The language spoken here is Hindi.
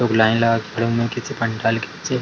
लोग लाइन लगा के खड़े हुए हैं किसी पंडाल के नीचे।